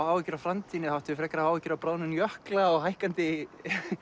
áhyggjur af framtíðinni ættum við frekar að hafa áhyggjur af bráðnun jökla og hækkandi